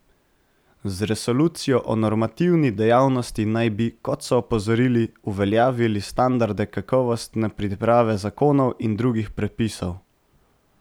Z resolucijo o normativni dejavnosti naj bi, kot so opozorili, uveljavili standarde kakovostne priprave zakonov in drugih predpisov.